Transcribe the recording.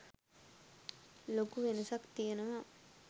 ලොකු වෙනසක් තියෙනවා?